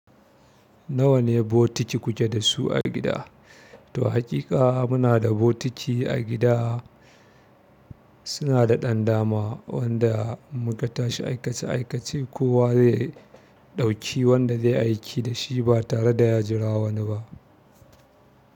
Nawa ne bokiti kuke dasu a gida? Toh haƙiƙa muna da bokiti a gida suna da ɗan dama, wanda muka tashi aikace-aikace kowa zai ɗauki wanda zai aiki da shi ba tareda ya jira wani ba.